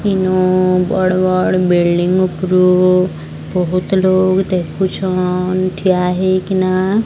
ଇନ ବଡ଼ ବଡ଼ ବିଲ୍ଡିଂ ଉପୁରୁ ବୋହୁତ୍ ଲୋକ୍ ଦେଖୁଛନ୍ ଠିଆ ହେଇକିନା।